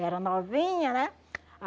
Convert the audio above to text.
Era novinha, né?